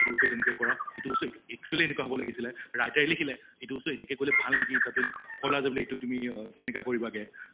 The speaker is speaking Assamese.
এইটো বস্তু তেনেকে কৰা এইটো বস্তু actually এনেকুৱা হʼব লাগিছিলে, writer য়ে লিখিলে এইটো বস্তু এনেকে কৰিলে ভাল নেকি তাতে কʼলে যে এইটো তুমি অহ তেনেকা কৰিবাগে